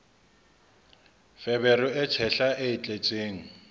feberu e tshehla e tletseng